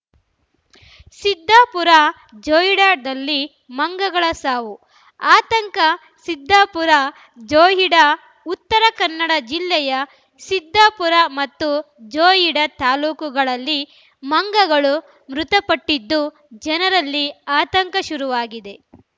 ಸಿದ್ದಾಪುರ ಜೋಯಿಡಾದಲ್ಲಿ ಮಂಗಗಳ ಸಾವು ಆತಂಕ ಸಿದ್ದಾಪುರ ಮತ್ತು ಜೋಯಿಡಾ ಉತ್ತರ ಕನ್ನಡ ಜಿಲ್ಲೆಯ ಸಿದ್ದಾಪುರ ಮತ್ತು ಜೋಯಿಡಾ ತಾಲೂಕುಗಳಲ್ಲಿ ಮಂಗಗಳು ಮೃತಪಟ್ಟಿದ್ದು ಜನರಲ್ಲಿ ಆತಂಕ ಶುರುವಾಗಿದೆ